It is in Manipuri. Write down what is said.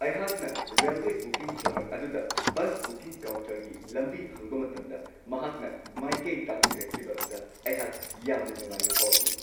ꯑꯩꯍꯥꯛ ꯔꯦꯜꯋꯦ ꯕꯨꯀꯤꯡ ꯀ꯭ꯂꯔ꯭ꯛ ꯑꯗꯨꯗ ꯕꯁ ꯕꯨꯀꯤꯡ ꯀꯥꯎꯟꯇꯔꯒꯤ ꯂꯝꯕꯤ ꯍꯪꯕ ꯃꯇꯝꯗ ꯃꯍꯥꯛꯅ ꯃꯥꯏꯀꯩ ꯇꯥꯛꯄꯤꯔꯛꯈꯤꯕ ꯑꯗꯨꯗ ꯑꯩꯍꯥꯛꯅ ꯌꯥꯝꯅ ꯅꯨꯡꯉꯥꯏꯕ ꯐꯥꯎꯈꯤ ꯫